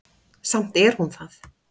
Samt er hún það.